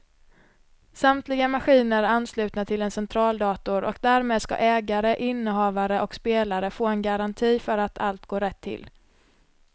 Samtliga maskiner är anslutna till en centraldator och därmed ska ägare, innehavare och spelare få en garanti för att allt går rätt till.